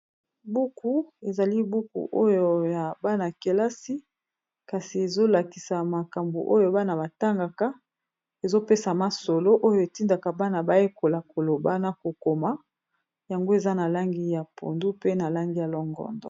Buku ya bana batangaka na lopoto bakomi "j'ai peur du monsieur" eza na masapo mingi na kati.